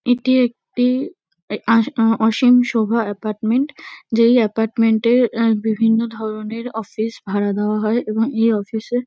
এটি একটি আ আ ও অসীম শোভা এপার্টমেন্ট যেই এপার্টমেন্ট -এর আ বিভিন্ন ধরণের অফিস ভাড়া দেওয়া হয় এবং এই অফিস -এ --